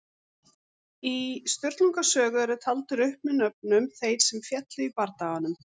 Í Sturlunga sögu eru taldir upp með nöfnum þeir sem féllu í bardaganum.